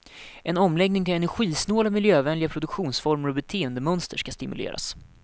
En omläggning till energisnåla, miljövänliga produktionsformer och beteendemönster ska stimuleras.